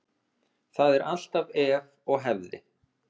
Það er alltaf ef og hefði.